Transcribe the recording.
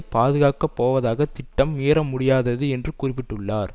பாதுகாக்க போவதாக திட்டம் மீற முடியாதது என்று குறிப்பிட்டுள்ளார்